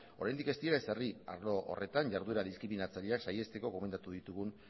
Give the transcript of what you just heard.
oraindik ez dira ezer egin arlo horretan jarduera diskriminatzaileak saihesteko gomendatu ditugun